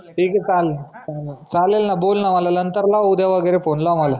ठीक आहे चालेल ना बोल ना माला नंतरला उद्या वगेरे फोन लाव मग